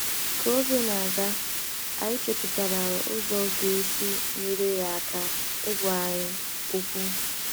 Ka oge na - aga, anyị chepụtara ụzọ ga esi nyere ya aka ịgwa anyị “ okwu. ”